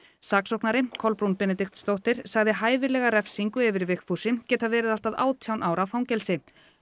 saksóknari Kolbrún Benediktsdóttir sagði hæfilega refsingu yfir Vigfúsi geta verið allt að átján ára fangelsi